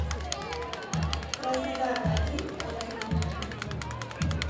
краснодар один отзывы